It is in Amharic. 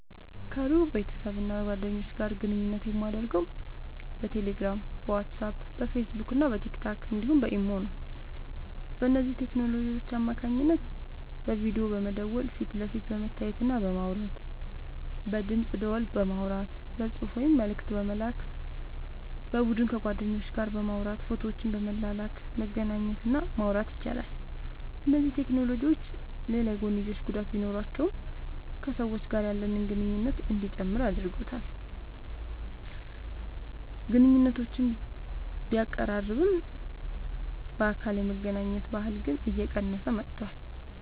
ከሩቅ ቤተሰብና ጓደኞች ጋር ግንኙነት የማደርገው በቴሌግራም፣ በዋትስአፕ፣ በፌስቡክና በቲክቶክ እንዲሁም በኢሞ ነው። በእነዚህ ቴክኖሎጂዎች አማካኝነት በቪዲዮ በመደወል ፊት ለፊት በመተያየትና በማውራት፣ በድምፅ ደወል በማውራት፣ በጽሑፍ ወይም መልእክት በመላክ፣ በቡድን ከጓደኞች ጋር በማውራት ፎቶዎችን በመላላክ መገናኘት እና ማውራት ይቻላል። እነዚህ ቴክኖሎጂዎች ሌላ የጐንዮሽ ጉዳት ቢኖራቸውም ከሰዎች ጋር ያለንን ግንኙነት እንዲጨምር አድርጎታል። ግንኙነቶችን ቢያቀራርብም፣ በአካል የመገናኘት ባህልን ግን እየቀነሰው መጥቷል።